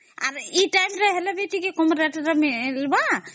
ଆରେ ଏ rate ହେଲେ ତା ଟିକେ କମ rate ରେ ମିଳିବ